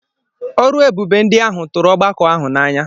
Ọrụ ebube ndị ahụ tụrụ ọgbakọ ahụ n’anya.